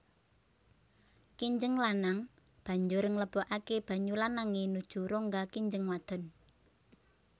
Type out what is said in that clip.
Kinjeng lanang banjur nglebokaké banyu lanangé nuju rongga kinjeng wadon